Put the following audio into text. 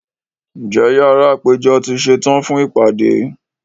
Njẹ̀ yàrá àpẹjọ̀ tó ṣẹtan fún ipádé?